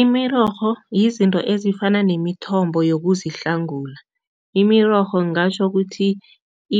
Imirorho yizinto ezifana nemithombo yokuzihlangula. Imirorho ngingatjho kuthi